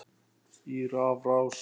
í rafrás